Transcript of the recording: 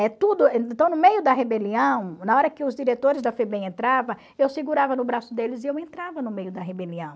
eh tudo... Então, no meio da rebelião, na hora que os diretores da Febem entrava, eu segurava no braço deles e eu entrava no meio da rebelião.